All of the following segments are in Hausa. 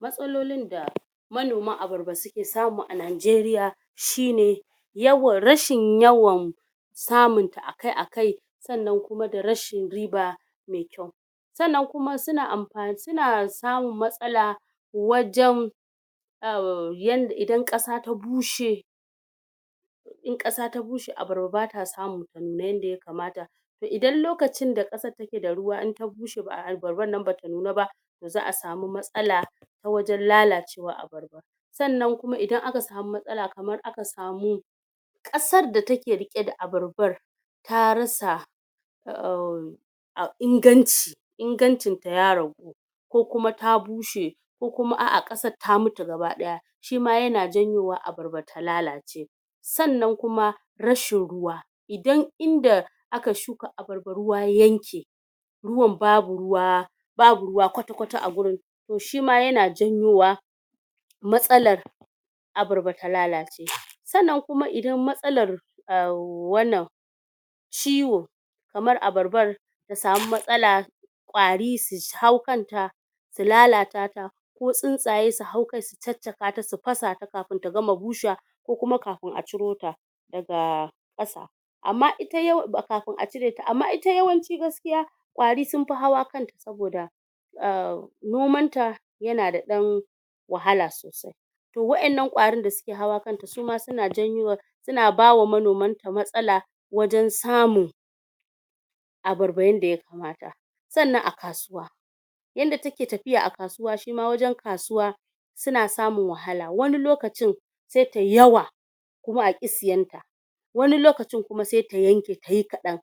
matsalolin da manomar abarba suke samu a nijeriya shine yawan rashin yawan samun ta akai akai sannan kuma da rashin riba mai kyau sannan kuma amfani suna samun masala wajen? yanda idan kasa ta bushe in kasa ta bushe abarba bata samun ta nuna yanda yakamata toh idan lokacin kasan take ruwa in ta bushe ba'a abarban nan bata nuna ba to za'a samu matsala ta wajen lalacewar abarba sannan idan aka samu matsala kamar aka samu kasar da take riqe da abarban ta rasa um inganci ingancin ta ya ragu ko kuma ta bushe ko kuma a a kasar tamutu gaba daya shima yana janyo wa abarba ta lalace sannnan kuma rashin ruwa idan inda aka shuka abarba ruwa ya yanke ruwan babu ruwa babu ruwa kwata kwata agurin to shima yana janyo wa matsalar abarba ta lalace? sannnan idan kuma matsalar umm wannan ciwo kamar abarban ta sami matsala ƙwari su hau kanta su lalata ta ko tsuntsaye su hau kai su caccakata su fasa ta kafun ta gama bushewa ko kuma kafun aci rota daga ƙasa amma ita kafun acireta ywanci gaskiya ƙwari sunfi hawa kanta saboda umm nomanta yana dan wahala sosai to waɗan nan kwari da suke hawa kanta suma suna janyo suna bawa manoman ta matsala wajen samun abarba yanda ya kamata sannan a kasuwa yanda take tafiya a kasuwa wajen kasuwa suan samun wahala wani lokacin sai tayi yawa kuma aki siyanta wani lokacin kuma sai ta yanke tayi kaɗan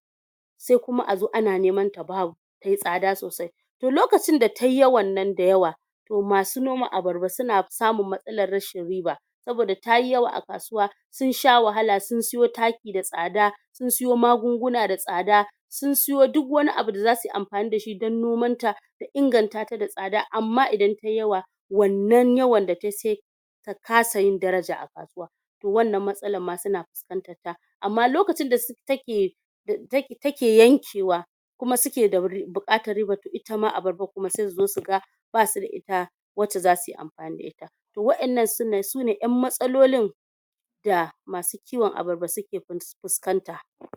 sai kuma azo ana neman ta babu tayi tsada sosai toh lokacin nan da yi yawan nan da yawa to masu noma abarba suna samun matsalar rashin riba saboda tayi yawa a kasuwa sun sha wahala sun sayo taki da tsada sun sayo magunguna da tsada sun sayo duk wani abu dazu suyi anfani dan nomanta su ingantata da tsada amma idan tayi yawa wannan yawa da tayi sai ta kasa yin daraja a kasuwa wannan matsalar ma suna fuskantar ta amma lokacin da take yanke wa kuma suke da bukatar ribar to itama abarba sai suzo suga basu da ita wacce zasu amfani da ita to waɗanan sune yan matsalolin da masu kiwon abarba suke fuskanta